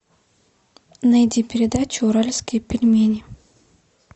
найди передачу уральские пельмени